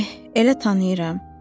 Eh, elə tanıyıram.